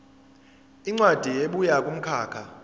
incwadi ebuya kumkhakha